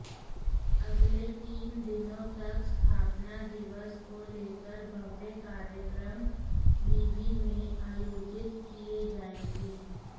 अगले तीन दिनों तक स्थापना दिवस को लेकर भव्य कार्यक्रम विवि मंे आयोजित किए जाएंगे